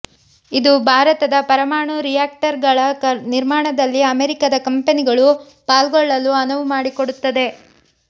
ಇದು ಭಾರತದ ಪರಮಾಣು ರಿಯಾಕ್ಟರ್ಗಳ ನಿರ್ಮಾಣದಲ್ಲಿ ಅಮೆರಿಕದ ಕಂಪೆನಿಗಳು ಪಾಲ್ಗೊಳ್ಳಲು ಅನುವು ಮಾಡಿಕೊಡುತ್ತದೆ